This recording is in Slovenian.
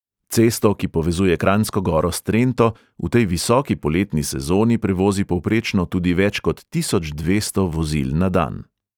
Cesto, ki povezuje kranjsko goro s trento, v tej visoki poletni sezoni prevozi povprečno tudi več kot tisoč dvesto vozil na dan.